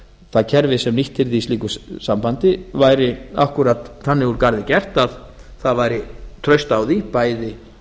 það kerfi sem nýtt yrði í slíku sambandi væri akkúrat þannig úr garði gert að það væri traust á því bæði